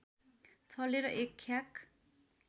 छलेर एक ख्याक